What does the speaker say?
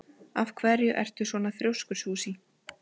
Af hverju ertu svona þrjóskur, Susie?